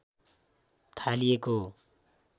थालिएको हो